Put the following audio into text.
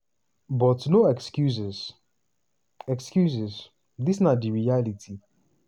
but no excuses excuses dis na di reality.